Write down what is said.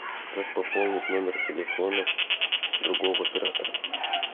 как пополнить номер телефона другого оператора